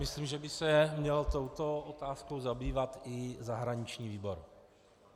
Myslím, že by se měl touto otázkou zabývat i zahraniční výbor.